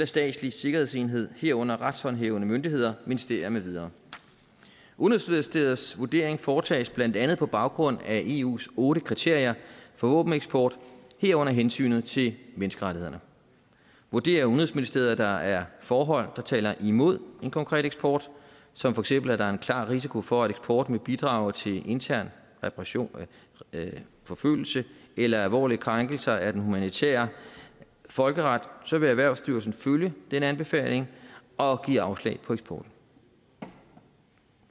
statslig sikkerhedsenhed herunder en retshåndhævende myndighed ministerie med videre udenrigsministeriets vurdering foretages blandt andet på baggrund af eus otte kriterier for våbeneksport herunder hensynet til menneskerettighederne vurderer udenrigsministeriet at der er forhold der taler imod en konkret eksport som for eksempel at der er en klar risiko for at eksporten vil bidrage til intern repression forfølgelse eller alvorlige krænkelser af den humanitære folkeret så vil erhvervsstyrelsen følge den anbefaling og give afslag på eksport